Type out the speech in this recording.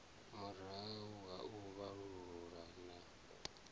murahu ha u vhalulula na